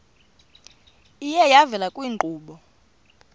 iye yavela kwiinkqubo